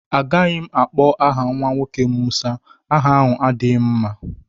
Agaghị m akpọ aha nwa nwoke m Musa. Aha ahụ adighị m mma.